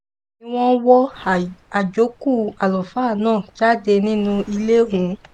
bẹ́ẹ̀ ni wọ́n wọ àjókù àlùfáà náà jáde nínú ilé ọ̀hún